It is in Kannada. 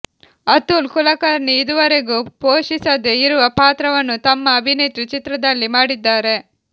ಅತುಲ್ ಕುಲಕರ್ಣಿ ಇದುವರೆಗೂ ಪೋಷಿಸದೆ ಇರುವ ಪಾತ್ರವನ್ನು ತಮ್ಮ ಅಭಿನೇತ್ರಿ ಚಿತ್ರದಲ್ಲಿ ಮಾಡಿದ್ದಾರೆ